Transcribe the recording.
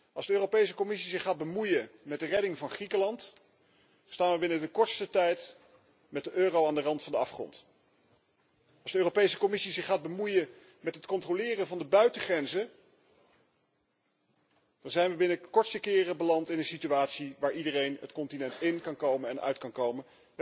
Als de Europese Commissie zich gaat bemoeien met de redding van Griekenland, staan wij binnen de kortste tijd met de euro aan de rand van de afgrond. Als de Europese Commissie zich gaat bemoeien met het controleren van de buitengrenzen, dan zijn wij binnen de kortste keren beland in een situatie waar iedereen het continent in en uit kan komen.